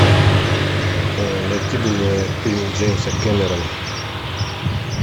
найти бы мне фильм джеймса кэмерона